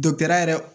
yɛrɛ